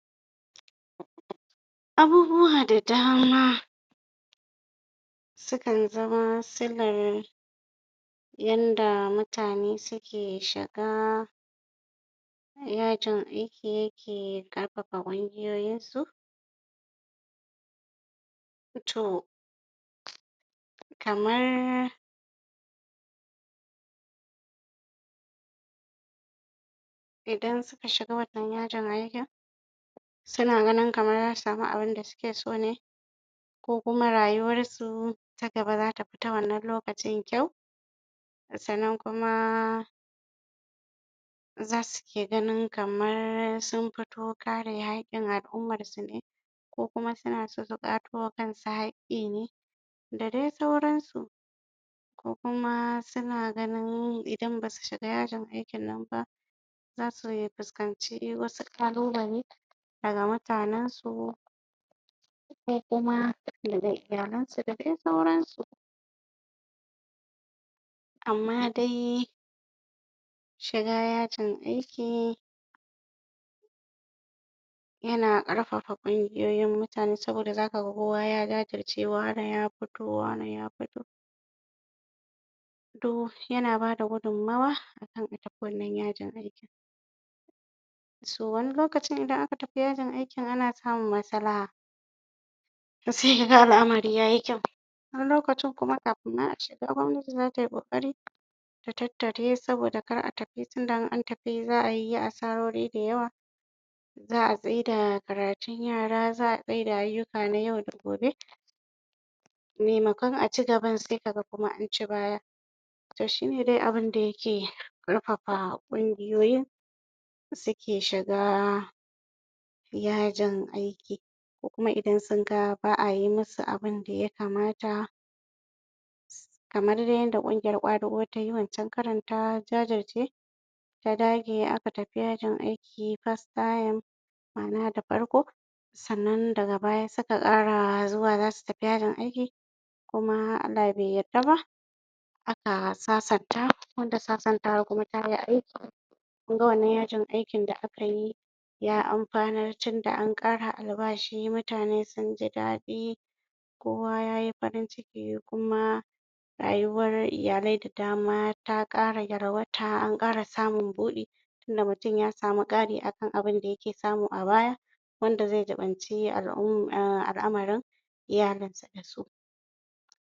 Abubuwa da dama sukan zama silan yanda mutane suke shiga yajin aiki ke ƙarfafa ƙungiyoyoinsu to kamar idan suka shiga wannan yajin aiki suna ganin kamar zasu samu abinda suke so ne ko kuma rayuwar su ta gaba zata fi ta wannan lokacin kyau sannan kuma zasu ke ganin kamar sun fito ƙara yaƙin al'umarsu ne ko kuma suna so su ƙwato ma kansu haƙƙi ne da dai sauransu ko kuma suna ganin Idan basu shiga yajin aikin nan ba zasu fuskanci wasu ƙalubale daga mutanen su ko kuma daga iyalansu da dai sauransu amma dai shiga yajin aiki yana ƙarfafa gwiwowin mutane saboda zaka ga kowa ya jajirce wane ya fito wane ya fito to yana bada gudummawa a kan a tafi wanna yajin aiki so wani lokacin idan aka tafi yajin aikin ana samun maslaha sai ka ga al'amari yayi kyau wani lokacin kuma kafin ma a shiga gwamnati zata yi ƙoƙari ta tattare saboda kar a tafi tunda in an tafi za a yi asarori dayawa za a tsaida da karatun yara za a tsaida ayyuka na yau da gobe maimakon a cigaba sai ka ga an ci baya to shine dai abunda yake ƙarfafa ƙungiyoyin suke shiga yajin aiki ko kuma idan sunga ba a yi musu abunda ya kamata kamar da yadda ƙungiyar ƙwadago tayi wancan karon ta jajirce ta dage aka tafi yajin aiki first time (karon farko) ma'ana da farko sannan daga baya suka ƙara zuwa zasu tafi yajin aiki kuma Allah bai yarda ba aka sasanta wanda sasantawa kuma tayi aiki kun ga wannan yajin aiki da aka yi ya amfanar tunda an ƙara albashi mutane sun ji daɗi kowa yayi farin ciki kuma rayuwar iyalai da dama ta ƙara yalwata an ƙara samun buɗi tunda mutum ya samu ƙari akan abunda yake samu a baya wanda zai jiɓanci al'amarin iyalinsa da su